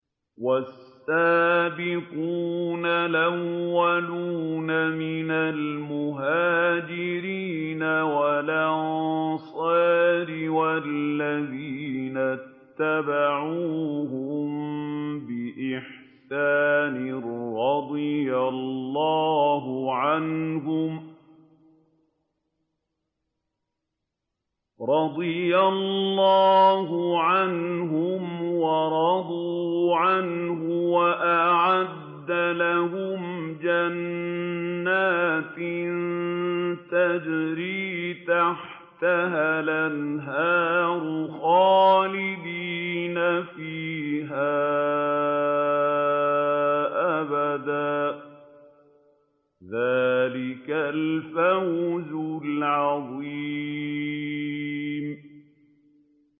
وَالسَّابِقُونَ الْأَوَّلُونَ مِنَ الْمُهَاجِرِينَ وَالْأَنصَارِ وَالَّذِينَ اتَّبَعُوهُم بِإِحْسَانٍ رَّضِيَ اللَّهُ عَنْهُمْ وَرَضُوا عَنْهُ وَأَعَدَّ لَهُمْ جَنَّاتٍ تَجْرِي تَحْتَهَا الْأَنْهَارُ خَالِدِينَ فِيهَا أَبَدًا ۚ ذَٰلِكَ الْفَوْزُ الْعَظِيمُ